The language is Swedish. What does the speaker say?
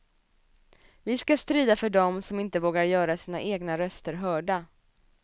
Vi ska strida för dem som inte vågar göra sina egna röster hörda.